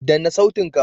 Danna sautin ka!